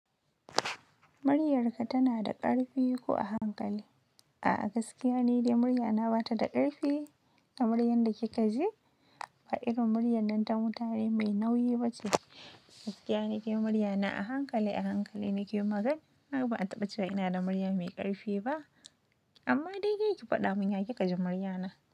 "Muryarka tana da ƙarfi ko a hankali?" A'a, gaskiya ne dai muryana ba ta da ƙarfi. Kamar yanda kika ji, ba irin muryar nan ta mutane mai nauyi ba ce. Gaskiya ne ke muryana a hankali, a hankali nake magana. Ha ba a taɓa cewa ina da murya mai ƙarfi ba. Amma dai ke ki faɗa mun, ya ki kaji muryana?